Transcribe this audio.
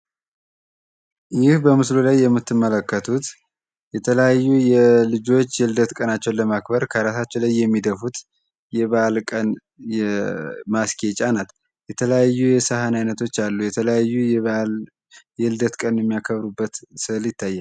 ይህ በመስሉ ላይ የምትመለከቱት የተለያዩ የልጆች የልደት ቀን ለማክበር በራሳቸው ላይ የሚደፉት ማስጌጫ ናት። የተለያዩ የሳህን አይነቶች አሉ የተለያዩ የልደት ቀን የሚያከብሩበት ስእል ይታያል።